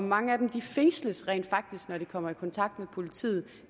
mange af dem fængsles rent faktisk når de kommer i kontakt med politiet